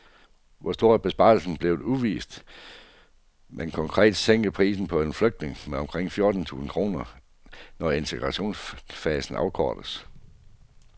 Hvor stor besparelsen bliver er uvist, men konkret sænkes prisen på en flygtning med omkring fjorten tusind kroner, når integrationsfasen afkortes.